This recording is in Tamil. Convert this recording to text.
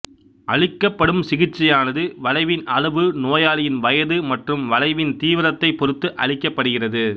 அளிக்கப்படும் சிகிச்சையானது வளைவின் அளவு நோயாளியின் வயது மற்றும் வளைவின் தீவிரத்தைப் பொறுத்து அளிக்கப்படுகிறது